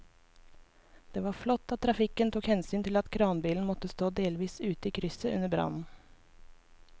Det var flott at trafikken tok hensyn til at kranbilen måtte stå delvis ute i krysset under brannen.